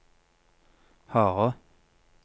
harde